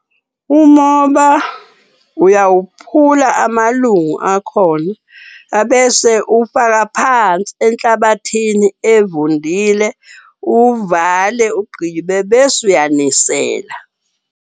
Umoba uyawuphula amalungu akhona, abese uwufaka phansi enhlabathini evundile. Uwuvale, ugqibe bese uyanisela.